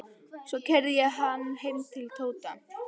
Svo keyrði ég hann heim til Tóta.